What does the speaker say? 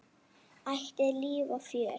Ætíð líf og fjör.